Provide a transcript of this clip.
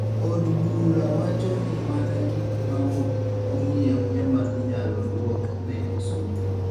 Od bura wacho ni mana gik maok ong'iew ema inyalo duok ne osuru